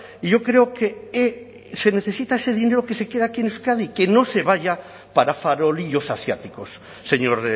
y yo creo que se necesita ese dinero que se quede aquí en euskadi que no se vaya para farolillos asiáticos señor